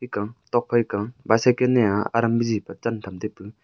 ekaw tokphai koi bycycle nea aram bisi pa chan cham taipu.